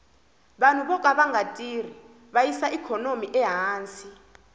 vanhu voka vanga tirhi va yisa ikhonomi ehansi